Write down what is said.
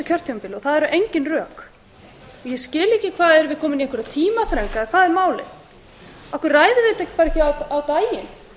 kjörtímabili og það eru engin rök erum við komin í einhverja tímaþröng eða hvað er málið af hverju ræðum við þetta ekki bara á daginn